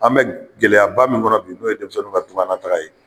An bɛ gɛlɛya ba min kɔnɔ bi n'u ye denmisɛnninw ka tugan nataga ye